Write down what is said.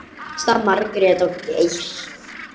Ásta, Margrét og Geir.